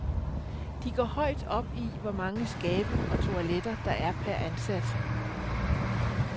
De går højt op i hvor mange skabe og toiletter, der er per ansat.